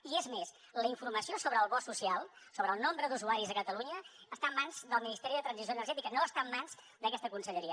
i és més la informació sobre el bo social sobre el nombre d’usuaris a catalunya està en mans del ministeri de transició energètica no està en mans d’aquesta conselleria